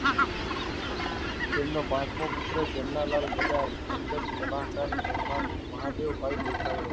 તેમનો પાંચમો પુત્ર જમનાલાલ બધાજ અંગત કલાકાર મહીં મહાદેવ ભાઈ દેખાઈ